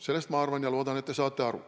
Sellest, ma arvan ja loodan, te saate aru.